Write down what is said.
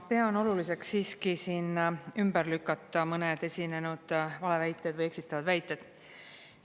Pean oluliseks siiski siin ümber lükata mõned esinenud valeväited või eksitavad väited.